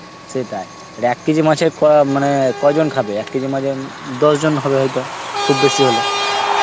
সেটাই, আর এক কেজি মাছে ক~ মানে কয়জন খাবে, এক কেজি মাছে আমি দশ জন হবে হয়তো, খুব বেশি হলে.